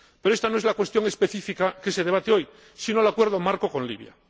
Pero esta no es la cuestión específica que se debate hoy, sino el acuerdo marco con Libia.